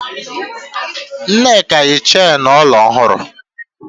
Nneka yi chenu olu ọhụrụ.